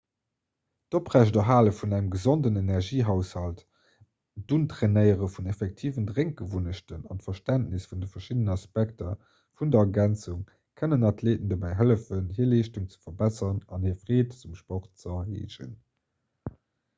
d'oprechterhale vun engem gesonden energiehaushalt d'untrainéiere vun effektiven drénkgewunnechten an d'verständnis vun de verschiddenen aspekter vun der ergänzung kënnen athleeten dobäi hëllefen hir leeschtung ze verbesseren an hir freed um sport ze erhéijen